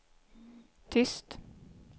tyst